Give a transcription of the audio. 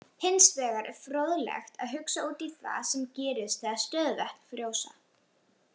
Hins vegar er fróðlegt að hugsa út í það sem gerist þegar stöðuvötn frjósa.